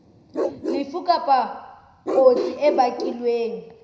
lefu kapa kotsi e bakilweng